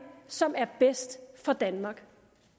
som er bedst for danmark